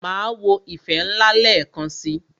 Máa wo "ìfẹ́ ńlá" lẹ́ẹ̀kan si.